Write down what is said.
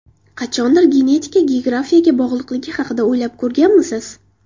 Qachondir genetika geografiyaga bog‘liqligi haqida o‘ylab ko‘rganmisiz?